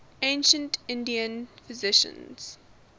ancient indian physicians